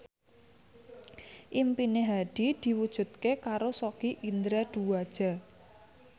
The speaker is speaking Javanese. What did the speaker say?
impine Hadi diwujudke karo Sogi Indra Duaja